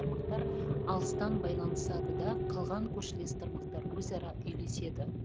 тармақтар алыстан байланысады да қалған көршілес тармақтар өзара үйлеседі